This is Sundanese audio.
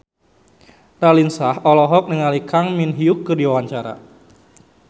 Raline Shah olohok ningali Kang Min Hyuk keur diwawancara